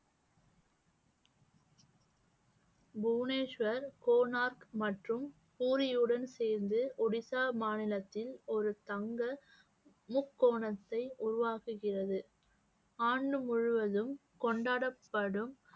புவனேஸ்வர், கோனார்க் மற்றும் பூரியுடன் சேர்ந்து ஒடிசா மாநிலத்தில் ஒரு தங்க முக்கோணத்தை உருவாக்குகிறது ஆண்டு முழுவதும் கொண்டாடப்படும்